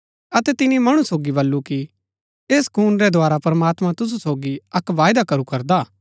अतै तिनी मणु सोगी बल्लू कि ऐस खून रै द्धारा प्रमात्मां तुसु सोगी अक्क वायदा करू करदा हा